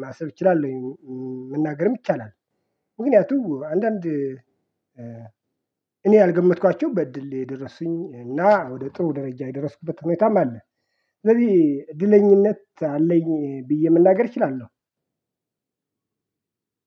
ማሰብ እችላለሁ መናገርም ይቻላል። ምክንያቱም አንዳንድ እኔ ያልገመትኳቸው በእድል የደረሱኝ እና ወደ ጥሩ ደረጃ የደረስኩበት ሁኔታም አለ። ስለዚህ እድለኝነት አለኝ። መናገር እችላለው።